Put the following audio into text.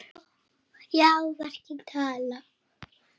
Já, verkin tala.